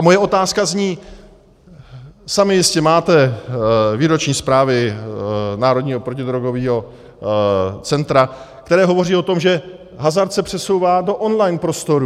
A moje otázka zní: Sami jistě máte výroční zprávy Národního protidrogového centra, které hovoří o tom, že hazard se přesouvá do online prostoru.